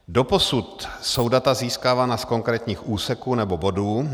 Doposud jsou data získávána z konkrétních úseků nebo bodů.